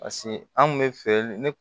Paseke an kun be feere ne